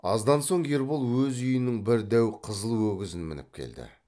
аздан соң ербол өз үйінің бір дәу қызыл өгізін мініп келді